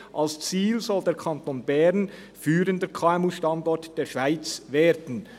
Als Ziel soll der Kanton Bern führender KMU-Standort der Schweiz werden.